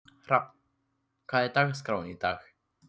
Hrafn, hvernig er dagskráin í dag?